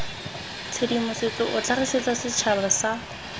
tshedimosetso o tlhagisetsa setšhaba sa